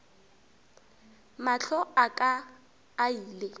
mahlo a ka a ile